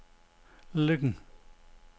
Løkken